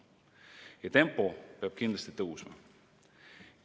Ja tempo peab kindlasti tõusma.